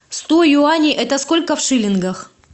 сто юаней это сколько в шиллингах